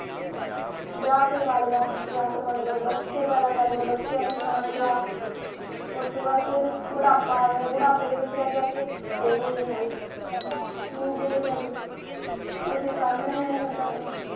ਵਿਆਹ ਕਰਵਾ ਲਿਆ ਵਿਆਹ ਕਰਵਾਉਣ ਵਾਲੇ ਬੱਚੇ ਪੈਦਾ ਕਰਨੇ ਬੱਚਿਆਂ ਨੂੰ ਸਾਂਭ ਲਿਆ ਉਸ ਵੱਲ ਫਿਰ ਬੁਢਾਪਾ ਆ ਗਿਆ ਪਿੜ ਵਿਚ ਜਾ ਕੇ ਕਹੋ ਨਿਹਾਲ ਮੰਜੇ ਤੇ ਪੈ ਗਈ ਹੋਰ ਕੋਈ ਕਾਮ ਨਹੀਂ ਹੋਂਦ